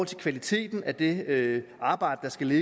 til kvaliteten af det arbejde der skal